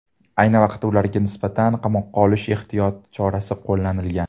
Ayni vaqtda ularga nisbatan qamoqqa olish ehtiyot chorasi qo‘llanilgan.